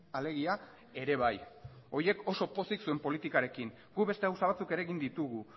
alegia ere bai horiek oso pozik zuen politikarekin guk beste gauza batzuk ere egin ditugu